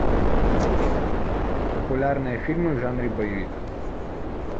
популярные фильмы в жанре боевик